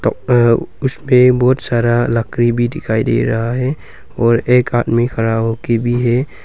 उसपे बहुत सारा लकड़ी भी दिखाई दे रहा है और एक आदमी खड़ा हो के भी है।